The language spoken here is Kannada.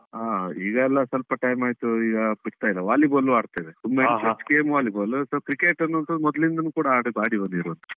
ಹಾ ಈಗ ಎಲ್ಲ ಸ್ವಲ್ಪ time ಆಯ್ತು ಈಗ ಬಿಡ್ತಾಇಲ್ಲ, volleyball ಆಡ್ತಾ ಇದ್ದೆ, volleyball, so cricket ಅನ್ನಂತು ಮೊದಲಿಂದನೂ ಕೂಡ ಆಡಿ ಆಡಿ ಬಂದಿರೋದು.